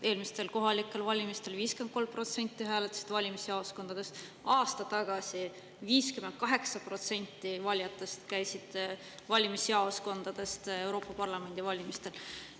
Eelmistel kohalikel valimistel 53% hääletas valimisjaoskondades, aasta tagasi käis Euroopa Parlamendi valimistel 58% valijatest valimisjaoskondades.